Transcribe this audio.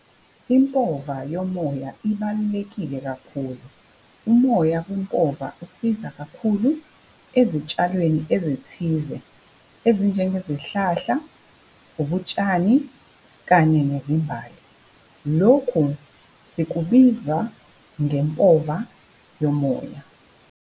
Impova yomoya ibalulekile kakhulu. Umoya kwimpova usiza kakhulu ezitshalweni ezithize, ezinjengezihlahla, ubutshani kanye nezimbali. Lokhu sikubiza ngempova yomoya.